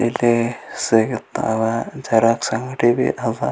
ಇಲ್ಲಿ ಸಿಗುತ್ತವೆ ಜೆರಾಕ್ಸ್ ಅಂಗಡಿಬಿ ಅವ್ .